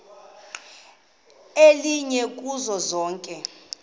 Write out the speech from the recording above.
elinye kuzo zonke